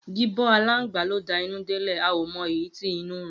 Gibo alangba lo da inu delẹ a omo eyi ti inu run.